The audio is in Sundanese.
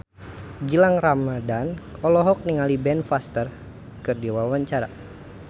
Gilang Ramadan olohok ningali Ben Foster keur diwawancara